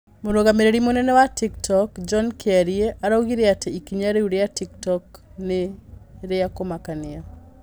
Mũrũgamĩrĩri mũnene wa Tik Tok, John Kĩarie arougire atĩ ikinya rĩu rĩa Tok Tok nĩ rĩa kũmakania.